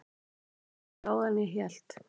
Hann er mun gáfaðri en ég hélt.